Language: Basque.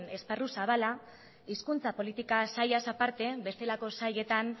esparru zabala hizkuntza politika sailaz aparte bestelako sailetan